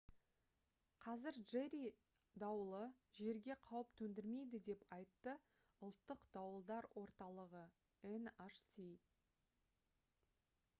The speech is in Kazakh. қазір джерри дауылы жерге қауіп төндірмейді деп айтты ұлттық дауылдар орталығы nhc